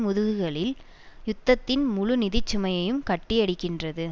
முதுகுகளில் யுத்தத்தின் முழு நிதி சுமையையும் கட்டியடிக்கின்றது